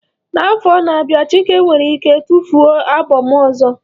N'afọ na-abịa Chike nwere ike tufuo albọm ọzọ.